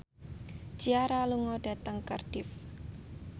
Ciara lunga dhateng Cardiff